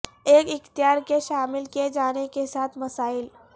ایک اختیار کے شامل کئے جانے کے ساتھ مسائل